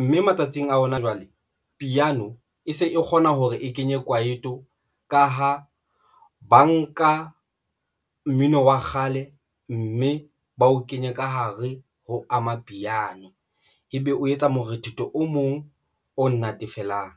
mme matsatsing a hona jwale piano e se e kgona hore e kenye kwaito ka ha ba nka mmino wa kgale, mme ba o kenye ka hare ho amapiano ebe o etsa morethetho o mong o natefelang.